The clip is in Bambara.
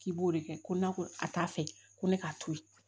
K'i b'o de kɛ ko n'a ko a t'a fɛ ko ne k'a to yen